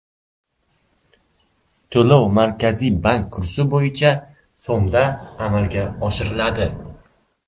To‘lov Markaziy bank kursi bo‘yicha so‘mda amalga oshiriladi.